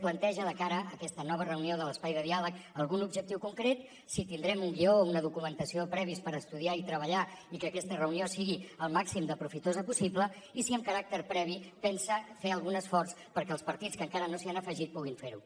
planteja de cara a aquesta nova reunió de l’espai de diàleg algun objectiu concret si tindrem un guió o una documentació previs per estudiar i treballar i que aquesta reunió sigui el màxim de profitosa possible i si amb caràcter previ pensa fer algun esforç perquè els partits que encara no s’hi han afegit puguin fer ho